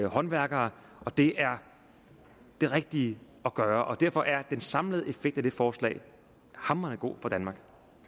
håndværkere og det er det rigtige at gøre og derfor er den samlede effekt af det forslag hamrende god for danmark